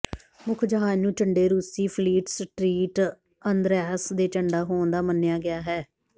ਮੁੱਖ ਜਹਾਜ਼ ਨੂੰ ਝੰਡੇ ਰੂਸੀ ਫਲੀਟ ਸਟ੍ਰੀਟ ਅੰਦ੍ਰਿਯਾਸ ਦੇ ਝੰਡਾ ਹੋਣ ਦਾ ਮੰਨਿਆ ਗਿਆ ਹੈ